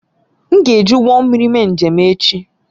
M ga-eji ụgbọ mmiri mee njem echi